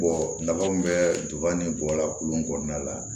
nafa mun bɛ duba ni bɔla kulu kɔnɔna la